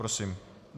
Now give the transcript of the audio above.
Prosím.